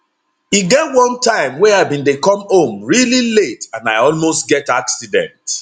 e get one time wey i bin dey come home really late and i almost get accident